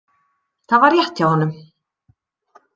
Það var rétt hjá honum.